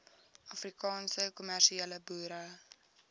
afrikaanse kommersiële boere